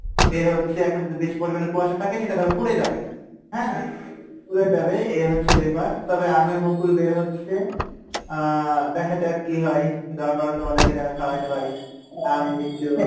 বের হচ্ছে এখন যেহেতু বেশি পরিমাণে কুয়াশা থাকে সেটা ধরো পরে যাবে হ্যাঁ? পরে যাবে এ হচ্ছে ব্যাপার তবে আমের মুকুল বের হচ্ছে, আহ দেখা যাক কী হয়, দুয়া করো তোমাদেরকে যেনো খাওয়াইতে পারি , আম লিচু।